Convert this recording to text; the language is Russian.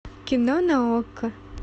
кино на окко